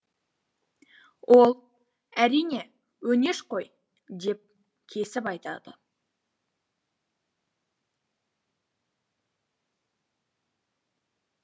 ол әрине өңеш қой деп кесіп айтады